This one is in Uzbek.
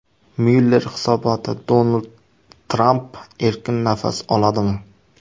Myuller hisoboti: Donald Tramp erkin nafas oladimi?